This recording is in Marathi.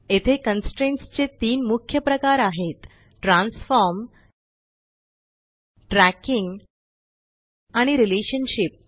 येथे कन्स्ट्रेंट्स चे तीन मुख्य प्रकार आहेत - ट्रान्सफॉर्म ट्रॅकिंग आणि रिलेशनशिप